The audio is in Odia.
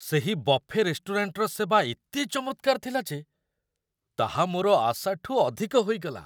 ସେହି ବଫେ ରେଷ୍ଟୁରାଣ୍ଟର ସେବା ଏତେ ଚମତ୍କାର ଥିଲା ଯେ ତାହା ମୋର ଆଶାଠୁ ଅଧିକ ହୋଇଗଲା!